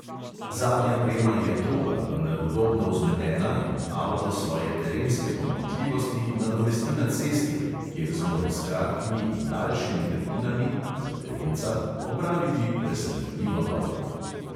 Zadnja prema je toga, vendar udobno vzmetena in avto svoje terenske pomanjkljivosti nadomesti na cesti, kjer zmore s kratkimi in daljšimi grbinami (za terenca) opraviti presenetljivo dobro.